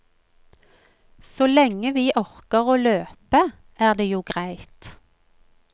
Så lenge vi orker å løpe, er det jo greit.